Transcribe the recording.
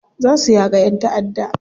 Za su yaka yan ta'adda.